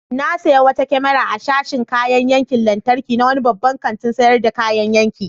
Na sayi wata kyamara a sashin kayayyakin lantarki na wani babban kantin sayar da kayayyaki.